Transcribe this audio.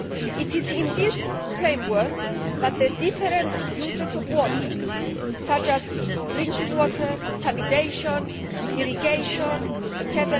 It is in this framework that the different uses of water such as drinking water, sanitation, irrigation etc.